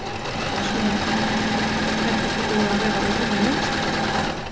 Sunna: Er þetta ekki búið að vera óvenju mikið?